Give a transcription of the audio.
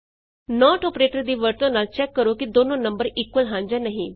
note operator ਦੀ ਵਰਤੋਂ ਨਾਲ ਚੈਕ ਕਰੋ ਕਿ ਦੋਨੋ ਨੰਬਰ ਇਕੁਅਲ ਹਨ ਜਾਂ ਨਹੀਂ